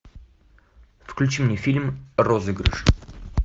включи мне фильм розыгрыш